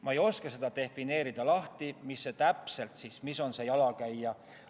Ma ei oska defineerida, mis täpselt on see jalakäija ...